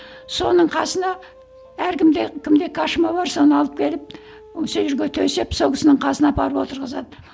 соның қасына әркімде кімде кошма бар соны алып келіп сол жерге төсеп сол кісінің қасына апарып отырғызады